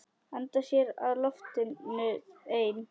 Anda að sér loftinu ein.